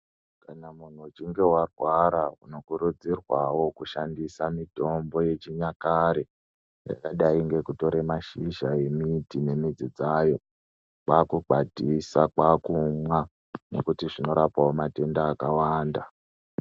Kana munhu uchinge warwara unokurudzirwawo kushandisa mitombo yechinyakare yakadai ngekutore mashizha emiti ngemidzi dzayo, kwaakukwatisa kwaakumwa nekuti zvinorapawo matenda akawanda.